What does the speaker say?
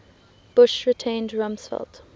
bush retained rumsfeld